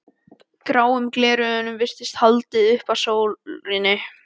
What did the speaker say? Gráum gleraugum virtist haldið upp að sólinni.